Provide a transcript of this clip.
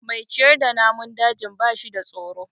Mai ciyar da namun dajin ba shida tsoro.